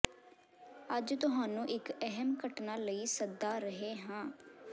ਅੱਜ ਤੁਹਾਨੂੰ ਇੱਕ ਅਹਿਮ ਘਟਨਾ ਲਈ ਸੱਦਾ ਰਹੇ ਹਨ